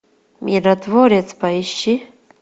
миротворец поищи